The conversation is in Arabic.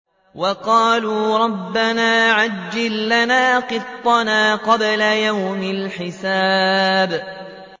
وَقَالُوا رَبَّنَا عَجِّل لَّنَا قِطَّنَا قَبْلَ يَوْمِ الْحِسَابِ